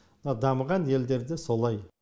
мына дамыған елдерде солай